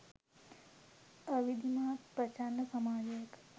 අවිධිමත් ප්‍රචණ්ඩ සමාජයක